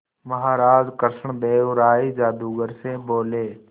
महाराज कृष्णदेव राय जादूगर से बोले